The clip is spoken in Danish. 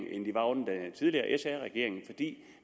end tidligere sr regering